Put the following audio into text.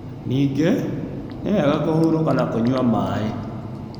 Ningĩ, nĩ wega kũhurũka na kũnyua maĩ.